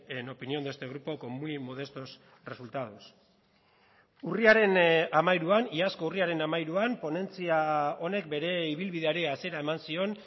en opinión de este grupo con muy modestos resultados urriaren hamairuan iazko urriaren hamairuan ponentzia honek bere ibilbideari hasiera eman zion